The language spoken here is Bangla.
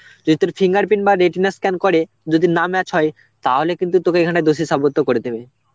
যদি তোর fingerprint বা retina scan করে, যদি না match হয় তাহলে কিন্তু তোকে এখানে দোষী সাব্যস্ত করে দেবে.